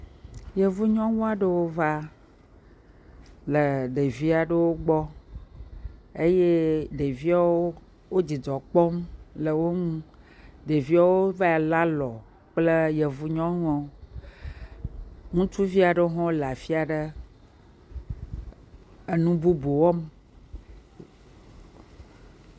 Yevu nyɔnu aɖewo va le ɖevi aɖewo gbɔ eye ɖeviawo dzidzɔ kpɔm le wo ŋu. Ɖeviawo vae lé alɔ kple yevu nyɔnua. Ŋutsuvi aɖewo hã le afi aɖe enu bubu wɔm.